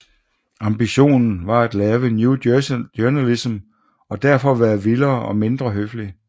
Ambitionen var at lave New journalism og derfor være vildere og mindre høflig